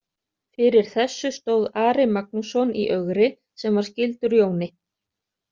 Fyrir þessu stóð Ari Magnússon í Ögri sem var skyldur Jóni.